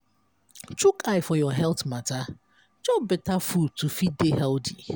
chook eye for your health matter chop better food to fit dey healthy